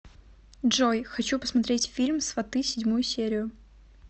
джой хочу посмотреть фильм сваты седьмую серию